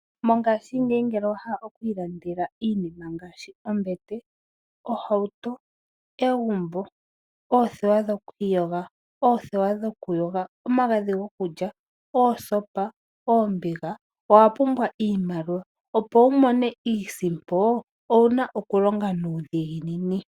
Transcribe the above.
Mongashingeyi ngele owa hala oku ilandela iinima ngaashi oombete, Oohauto, egumbo, oothewa dhoku iyoga, oothewa dhoku yoga, omagdhi gokulya, oosopa, oombiga owa pumbwa iimaliwa opo wumone iisimpo owa pumbwa oku longa nuudhiginini.